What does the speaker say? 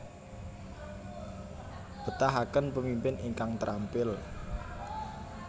Betahaken pemimpin ingkang trampil